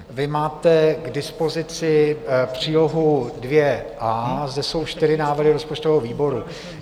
Vy máte k dispozici přílohu 2.A, zde jsou čtyři návrhy rozpočtového výboru.